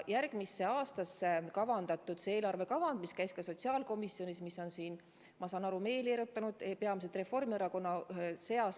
Järgmiseks aastaks kavandatud eelarvekavand, mis käis ka sotsiaalkomisjonist läbi, on, nagu ma aru saan, meeli erutanud peamiselt Reformierakonnas.